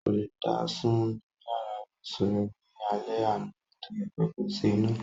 Kò lè dá sùn ní yàrá ìbùsun rẹ̀ ní alẹ́ àná nítorí pé kò sí iná.